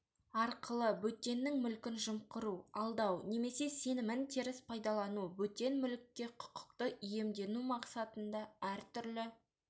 арқылы бөтеннің мүлкін жымқыру алдау немесе сенімін теріс пайдалану бөтен мүлікке құқықты иемдену мақсатында әртүрлі